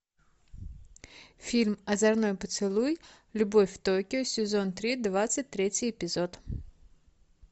фильм озорной поцелуй любовь в токио сезон три двадцать третий эпизод